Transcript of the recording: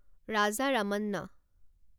Raja Ramanna